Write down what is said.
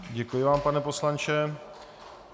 Děkuji vám, pane poslanče.